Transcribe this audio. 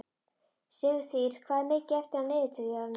Sigtýr, hvað er mikið eftir af niðurteljaranum?